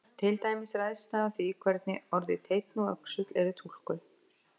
Til dæmis ræðst það af því hvernig orðin teinn og öxull eru túlkuð.